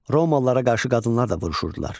Romalılara qarşı qadınlar da vuruşurdular.